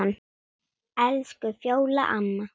Elsku Fjóla amma.